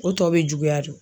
O tɔ bɛ juguya de.